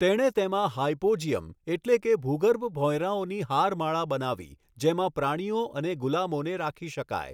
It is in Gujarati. તેણે તેમાં હાયપોજીયમ એટલે કે ભૂગર્ભ ભોંયરાઓની હારમાળા બનાવી જેમાં પ્રાણીઓ અને ગુલામોને રાખી શકાય.